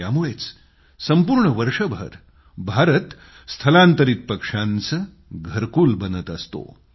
त्यामुळेच संपूर्ण वर्षभर भारत स्थलांतरीत पक्षांचे घरकूल बनत असतो